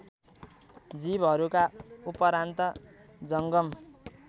जीवहरूका उपरान्त जङ्गम